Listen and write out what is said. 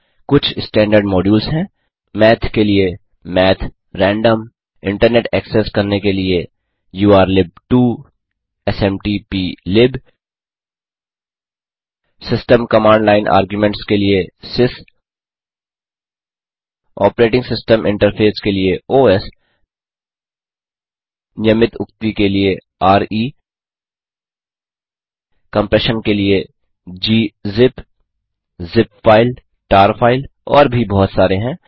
कुछ standard modules हैं math के लिए माथ रैंडमसेस इंटरनेट एक्सेस करने के लिए उर्लिब2 smtplib system command line arguments के लिए सिस ऑपरेटिंग सिस्टम इन्टरफेस के लिए ओएस नियमित उक्ति के लिए रे कम्प्रेशन के लिए gzip zip file tar file और भी बहुत सारे हैं